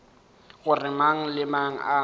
gore mang le mang a